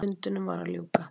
Fundinum var að ljúka.